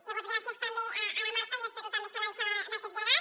llavors gràcies també a la marta i espero també estar a l’alçada d’aquest llegat